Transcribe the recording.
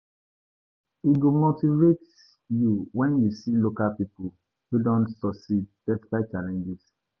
E go motivate you wen you see local pipo wey don succeed despite challenges.